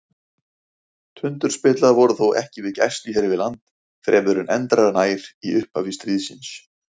Tundurspillar voru þó ekki við gæslu hér við land fremur en endranær í upphafi stríðsins.